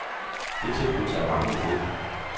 Det tilbud tager mange imod.